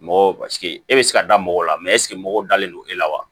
Mɔgɔw e bɛ se ka da mɔgɔw la ɛseke mɔgɔw dalen don e la wa